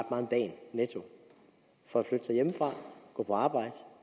om dagen netto for at flytte sig hjemmefra gå på arbejde